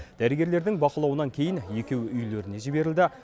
дәрігерлердің бақылауынан кейін екеуі үйлеріне жіберілді